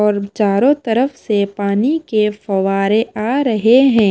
और चारों तरफ से पानी के फवारे आ रहे हैं।